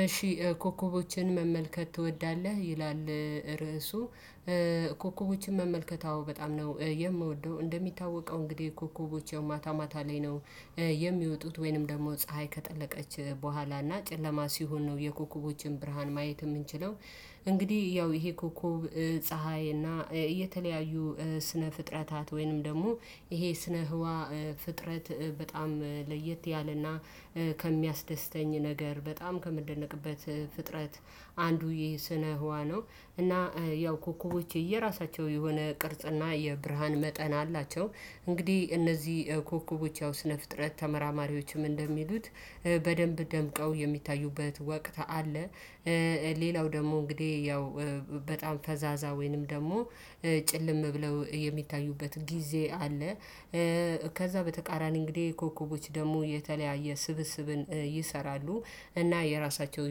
እሺ ኮከቦችን መመልከት ትወዳለህ ይላል? ርዕሱ ኮከቦችን መመልከት አዎ በጣም ነው የምወደው እንደሚታወቀው እንግዲህ ኮከቦች ያው ማታ ማታ ላይ ነው የሚወጡት ወይንም ደግሞ ፀሀይ ከጠለቀች በኋላ እና ጨለማ ሲሆን ነው የኮከቦችን ብርሃን ማየት የምንችለው። እንግዲህ ያው ይሄ ኮኮብ ፀሀይ እና የተለያዩ ስነ ፍጥረታት ወይንም ደግሞ ይሄ ስነ ህዋ ፍጥረት በጣም ለየት ያለና ከሚያስደስተኝ ነገር በጣም ከምደነቅበት ፍጥረት አንዱ ይሄ ስነ ህዋ ነው። እና ያው ኮኮቦች የራሳቸው የሆነ ቅርጽና የብርሃን መጠን አላቸው እንግዲህ እነዚህ ኮከቦች ያው ስነ ፍጥረት ተመራማሪዎችም እንደሚሉት በደንብ ደምቀው የሚታዩበት ወቅት አለ። ሌላው ደግሞ እንግዲህ ያው በጣም ፈዛዛ ወይንም ደግሞ ጭልም ብለው የሚታዩበት ጊዜ አለ። ከዛ በተቃራኒ እንግዲህ ኮከቦች ደግሞ የተለያየ ስብስብን ይሰራሉ እና የራሳቸው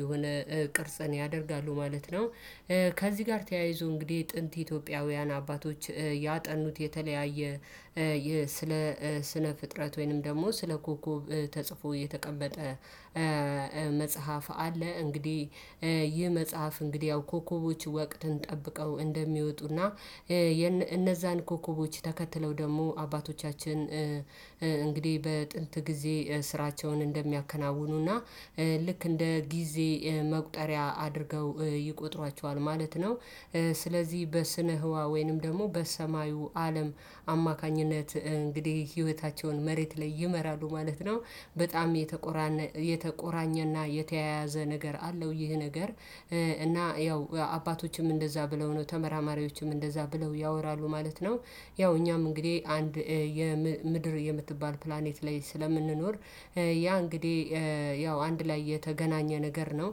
የሆነ ቅርጽን ያደርጋሉ ማለት ነው። ከዚህ ጋር ተያይዞ እንግዲህ ጥንት ኢትዮጵያውያን አባቶች ያጠኑት የተለያየ ስለ ስነ ፍጥረት ወይንም ደግሞ ስለ ኮከብ ተጽፎ የተቀመጠ መጽሐፍ አለ። እንግዲህ ይህ መጽሐፍ እንግዲህ ያው ኮከቦች ወቅትን ጠብቀው እንደሚወጡና እነዛን ኮከቦች ተከትለው ደግሞ አባቶቻችን እንግዲህ በጥንት ጊዜ ስራቸውን እንደሚያከናውኑና ልክ እንደ ጊዜ መቁጠሪያ አድርገው ይቆጥሯቸዋል ማለት ነው። ስለዚህ በስነ ህዋ ወይንም ደግሞ በሰማዩ አለም አማካኝነት እንግዲህ ህይወታቸውን መሬት ላይ ይመራሉ ማለት ነው። በጣም የተቆራ የተቆራኘና የተያያዘ ነገር አለው ይህ ነገር እና ያው አባቶችም እንደዛ ብለው ነው ተመራማሪዎችም እንደዛ ብለው ያወራሉ ማለት ነው። ያው እኛም እንግዲህ አንድ የምድር የምትባል ፕላኔት ላይ ስለምንኖር ያ እንግዲህ ያው አንድ ላይ የተገናኘ ነገር ነው።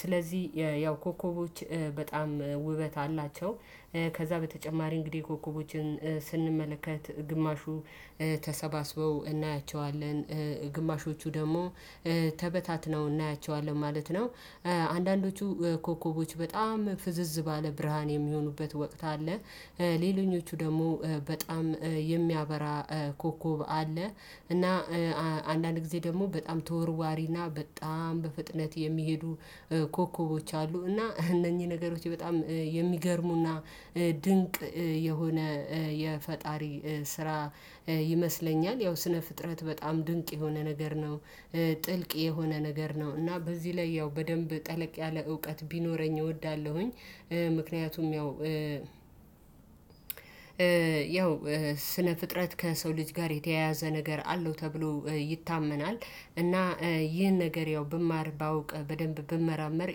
ስለዚህ ያው ኮከቦች በጣም ውበት አላቸው። ከዛ በተጨማሪ እንግዲህ ኮከቦችን ስንመለከት ግማሹ ተሰባስበው እናያቸዋለን ግማሾቹ ደግሞ ተበታትነው እናያቸዋለን ማለት ነው። አንዳንዶቹ ኮከቦች በጣም ፍዝዝ ባለ ብርሃን የሚሆኑበት ወቅት አለ። ሌሎኞቹ ደግሞ በጣም የሚያበራ ኮከብ አለ። እና አንዳንድ ጊዜ ደግሞ በጣም ተወርዋሪና በጣም በፍጥነት የሚሄዱ ኮከቦች አሉ። እና እነኚህ ነገሮች በጣም የሚገርሙና ድንቅ የሆነ የፈጣሪ ስራ ይመስለኛል ያው ስነ ፍጥረት በጣም ድንቅ የሆነ ነገር ነው። ጥልቅ የሆነ ነገር ነው እና በዚህ ላይ ያው በደንብ ጠለቅ ያለ እውቀት ቢኖረኝ እወዳለሁኝ። ምክንያቱም ያው ያው ስነ ፍጥረት ከሰው ልጅ ጋር የተያያዘ ነገር አለው ተብሎ ይታመናል። እና ይህን ነገር ያው ብማር ባውቅ በደንብ ብመራመር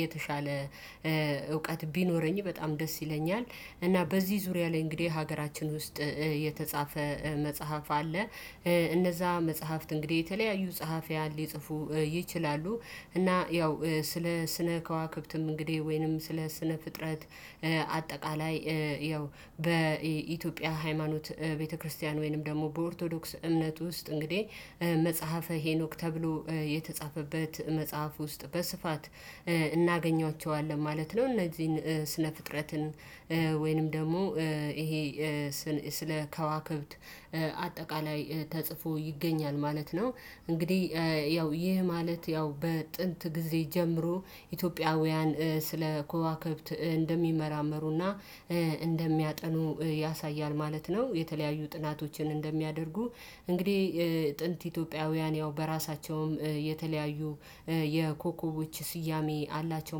የተሻለ እውቀት ቢኖረኝ በጣም ደስ ይለኛል። እና በዚህ ዙሪያ ላይ እንግዲህ ሀገራችን ውስጥ የተጻፈ መጽሐፍ አለ። እነዛ መጽሐፍት እንግዲህ የተለያዩ ጸሐፊያን ሊጽፉ ይችላሉ እና ያው ስለ ስነ ከዋክብትም እንግዲህ ወይንም ስለ ስነ ፍጥረት አጠቃላይ ያው በኢትዮጵያ ሃይማኖት ቤተክርስቲያን ወይንም ደግሞ በኦርቶዶክስ እምነት ውስጥ እንግዲህ መጽሐፈ ሄኖክ ተብሎ የተጻፈበት መጽሐፍ ውስጥ በስፋት እናገኛቸዋለን ማለት ነው። እነዚህን ስነ ፍጥረትን ወይንም ደግሞ ይሄ ስለ ከዋክብት አጠቃላይ ተጽፎ ይገኛል ማለት ነው። እንግዲህ ያው ይህ ማለት ያው በጥንት ጊዜ ጀምሮ ኢትዮጵያውያን ስለ ክዋክብት እንደሚመራመሩና እንደሚያጠኑ ያሳያል ማለት ነው። የተለያዩ ጥናቶችን እንደሚያደርጉ እንግዲህ ጥንት ኢትዮጵያውያን ያው በራሳቸውም የተለያዩ የኮከቦች ስያሜ አላቸው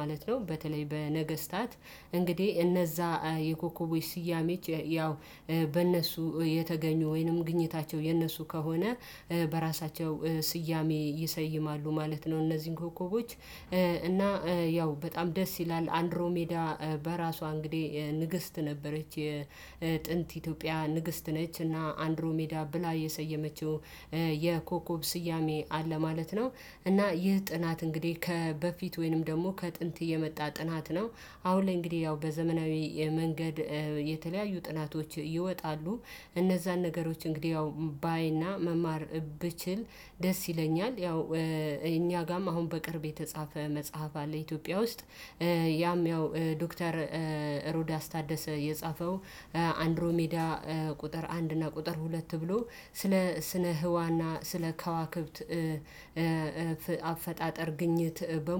ማለት ነው። በተለይ በነገስታት እንግዲህ እነዛ የኮከቦች ስያሜች ያው በእነሱ የተገኙ ወይንም ግኝታቸው የእነሱ ከሆነ በራሳቸው ስያሜ ይሰይማሉ ማለት ነው። እነዚህን ኮከቦች እና ያው በጣም ደስ ይላል አንድሮ ሜዳ በራሷ እንግዲህ ንግስት ነበረች የጥንት ኢትዮጵያ ንግስት ነች እና አንድሮ ሜዳ ብላ የሰየመችው የኮከብ ስያሜ አለ ማለት ነው። እና ይህ ጥናት እንግዲህ ከበፊት ወይንም ደግሞ ከጥንት የመጣ ጥናት ነው። አሁን ላይ እንግዲህ ያው በዘመናዊ የመንገድ የተለያዩ ጥናቶች ይወጣሉ። እነዛን ነገሮች እንግዲህ ያው ባይና መማር ብችል ደስ ይለኛል። ያው እኛ ጋም አሁን በቅርብ የተጻፈ መጽሐፍ አለ ኢትዮጵያ ውስጥ ያም ያው ዶክተር ሮዳስ ታደሰ የጻፈው አንድሮ ሜዳ ቁጥር አንድ እና ቁጥር ሁለት ተብሎ ስለ ስነ ህዋና ስለ ከዋክብት አፈጣጠር ግኝት በሙ